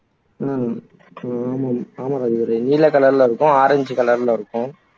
உம் ஆமா ஆமாம் ராஜதுரை நீல கலர்ல இருக்கும் ஆரஞ்சு கலர்ல இருக்கும்